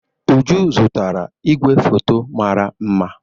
Uju zụtara igwefoto mara mma.